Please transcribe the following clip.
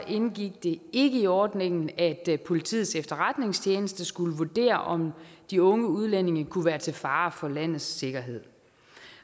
indgik det ikke i ordningen at politiets efterretningstjeneste skulle vurdere om de unge udlændinge kunne være til fare for landets sikkerhed